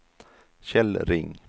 Kjell Ring